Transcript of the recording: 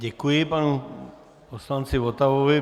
Děkuji panu poslanci Votavovi.